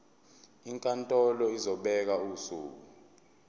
inkantolo izobeka usuku